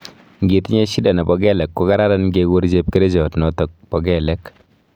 Ngitinye shida nebo kelek kokararan kekur chepkerichot notok po kelek